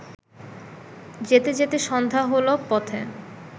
যেতে যেতে সন্ধ্যা হলো পথে